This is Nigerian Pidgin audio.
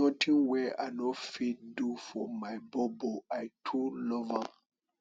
notin wey i no fit do for my bobo i too love am